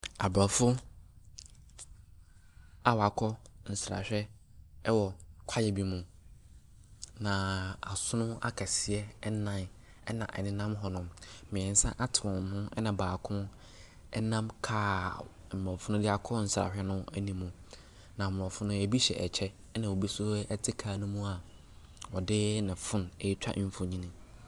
Abrɔfo a wɔakɔ nsrahwɛ wɔ kwaeɛ bi mu. Na asono akɛseɛ nan na wɔnenam hɔnom. Mmiɛnsa ate wɔn ho. Ɛna baako nam car Mmorɔfo no de akɔ nsrahwɛ no anim. Nammorɔfo no, ei hyɛ kyɛ na ebi nso te car no mu a ɔde ne phone retwa mfoni.